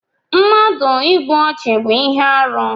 Mmadụ ịgbụ ọchu bú ihe arụ